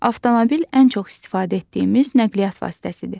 Avtomobil ən çox istifadə etdiyimiz nəqliyyat vasitəsidir.